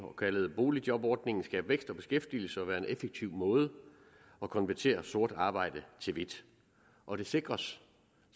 kaldet boligjobordningen skabe vækst og beskæftigelse og være en effektiv måde at konvertere sort arbejde til hvidt og det sikres